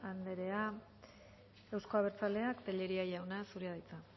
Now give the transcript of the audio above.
anderea euzko abertzaleak tellería jauna zurea da hitza